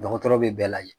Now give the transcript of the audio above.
Dɔgɔtɔrɔ bɛ bɛɛ lajɛ